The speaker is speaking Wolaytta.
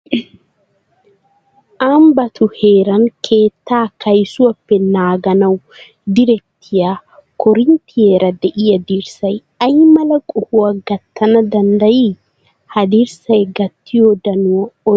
Ambbatu heeran keettaa kaysuwappe naaganawu direttiya korinttiyara de'iya dirssay ay mala qohuwa gattana danddayii? Ha dirssay gattiyo danuwan oyshettiyay oonee?